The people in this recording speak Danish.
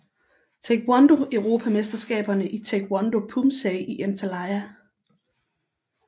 Taekwondo Europamesterskaber i Taekwondo Poomsae i Antalya